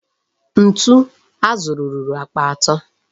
Ntu a zụrụ ruru akpa atọ.